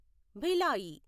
Bhilai